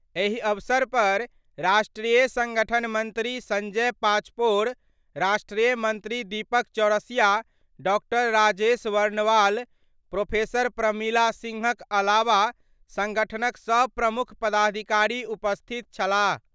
एहि अवसर पर राष्ट्रीय संगठन मंत्री संजय पाचपोर, राष्ट्रीय मंत्री दीपक चौरसिया, डॉ. राजेश वर्णवाल, प्रो. प्रमिला सिंह क अलावा संगठन क सभ प्रमुख पदधिकारी उपस्थित छलाह।